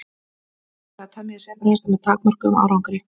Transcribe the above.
Reynt hefur verið að temja sebrahesta með takmörkuðum árangri.